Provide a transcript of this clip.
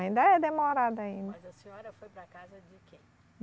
Ainda é demorado ainda. Mas a senhora foi para a casa de quem?